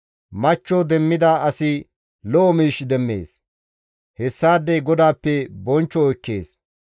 Machcho demmida asi lo7o miish demmees; hessaadey GODAAPPE bonchcho ekkees.